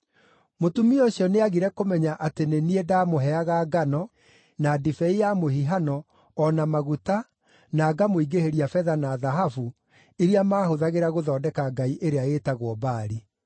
Mũtumia ũcio nĩagire kũmenya atĩ nĩ niĩ ndaamũheaga ngano, na ndibei ya mũhihano, o na maguta, na ngamũingĩhĩria betha na thahabu, iria maahũthagĩra gũthondeka ngai ĩrĩa ĩĩtagwo Baali.